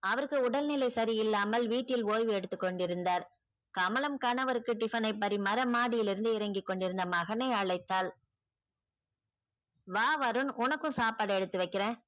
அவருக்கு உடல்நிலை சரியில்லாமல் வீட்டில் ஓய்வெடுத்துக் கொண்டிருந்தார். கமலம் கணவருக்கு tiffin னை பரிமாற மாடியிலிருந்து இறங்கி கொண்டிருந்த மகனை அழைத்தாள் வா வருண் உனக்கும் சாப்பாடு எடுத்து வைக்கிறன்.